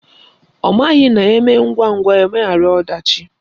Ọ maghị na eme ngwangwa, emeghara ọdachi